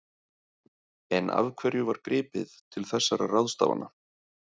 En af hverju var gripið til þessara ráðstafana?